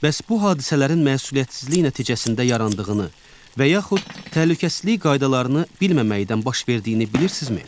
Bəs bu hadisələrin məsuliyyətsizlik nəticəsində yarandığını və yaxud təhlükəsizlik qaydalarını bilməməyindən baş verdiyini bilirsinizmi?